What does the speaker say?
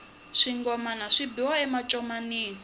swingomana swi biwa a mancomanini